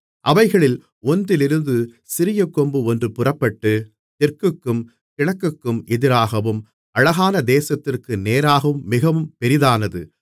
அவைகளில் ஒன்றிலிருந்து சிறிய கொம்பு ஒன்று புறப்பட்டு தெற்குக்கும் கிழக்குக்கும் எதிராகவும் அழகான தேசத்திற்கு நேராகவும் மிகவும் பெரிதானது